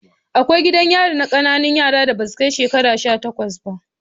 Akwai gidan yari na ƙanana yaran da basu kai shekaru sha takwas ba